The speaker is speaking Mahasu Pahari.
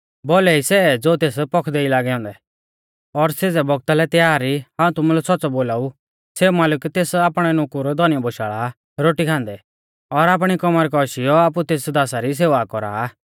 भौलै ई सै ज़ो तेस पौखदै ई लागै औन्दै और सेज़ै बौगता लै तैयार ई हाऊं तुमुलै सौच़्च़ौ बोलाऊ सेऊ मालिक तेस आपणौ नुकुर धौनी बोशाल़ा आ रोटी खान्दै और आपणी कमर कौशीयौ आपु तेस दासा री सेवा कौरा आ